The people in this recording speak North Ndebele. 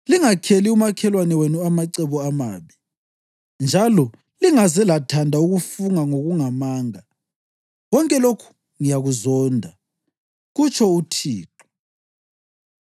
lingakheli umakhelwane wenu amacebo amabi, njalo lingaze lathanda ukufunga ngokungamanga. Konke lokhu ngiyakuzonda,” kutsho uThixo.